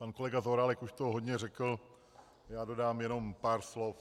Pan kolega Zaorálek už toho hodně řekl, já dodám jenom pár slov.